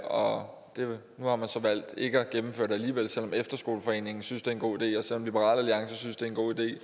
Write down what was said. og nu har man så valgt ikke at gennemføre det alligevel selv om efterskoleforeningen synes det er en god idé og selv om liberal alliance synes det er en god idé